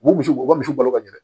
U bɛ misiw u ka misiw balo ka ɲinɛ